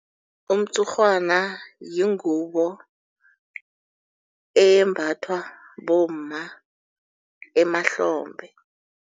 Umtshurhwana yingubo eyembathwa bomma emahlombe.